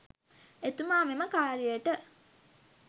එතුමා මෙම කාර්යයට